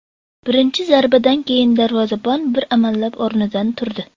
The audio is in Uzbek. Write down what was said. Birinchi zarbadan keyin darvozabon bir amallab o‘rnidan turdi.